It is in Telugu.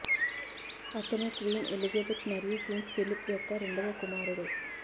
అతను క్వీన్ ఎలిజబెత్ మరియు ప్రిన్స్ ఫిలిప్ యొక్క రెండవ కుమారుడు